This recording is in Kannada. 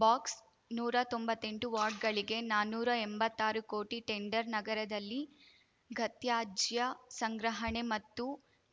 ಬಾಕ್ಸ್ ನೂರಾ ತೊಂಬತ್ತೆಂಟು ವಾರ್ಡ್‌ಗಳಿಗೆ ನಾನುರಾ ಎಂಭತ್ತಾರು ಕೋಟಿ ಟೆಂಡರ್‌ ನಗರದಲ್ಲಿ ಘತ್ಯಾಜ್ಯ ಸಂಗ್ರಹಣೆ ಮತ್ತು